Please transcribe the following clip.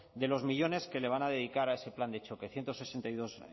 de los millónes que le van a dedicar a ese plan de choque ciento sesenta y dos